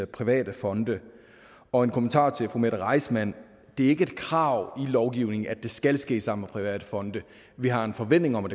private fonde og en kommentar til fru mette reissmann det er ikke et krav i lovgivningen at det skal ske sammen med private fonde vi har en forventning om at